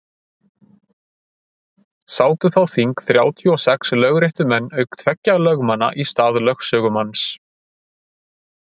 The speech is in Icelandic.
sátu þá þing þrjátíu og sex lögréttumenn auk tveggja lögmanna í stað lögsögumanns